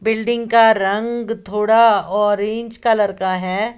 Building का रंग थोड़ा ऑरेंज कलर का है।